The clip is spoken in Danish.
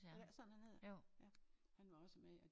Er det ikke sådan han hedder? Ja han var også med ja